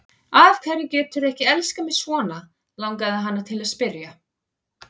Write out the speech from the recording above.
Af hverju geturðu ekki elskað mig svona, langaði hana til að spyrja.